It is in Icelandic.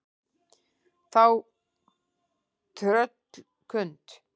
Þá tröllkund